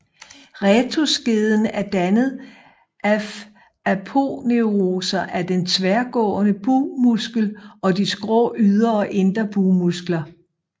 Rectusskeden er dannet af aponeuroser af den tværgående bugmuskel og de skrå ydre og indre bugmuskler